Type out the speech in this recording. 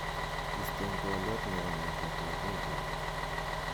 isten twolyot chebo ng'etet ab wigini